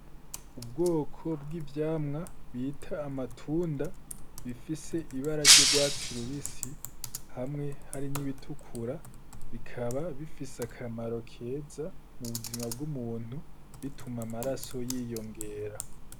Ubwoko bw’ivyamwa bita amatunda bifise ibara ry’urwatsi rubisi hamwe hari n’irirutukura . Bikaba bifise akamaro keza mu buzima bw’umuntu bituma amaraso yiyongera.